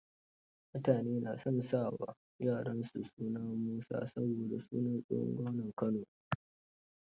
Mutane na son sa wa yara suna Musa, saboda sunan tsohon gwamnan Kano ne.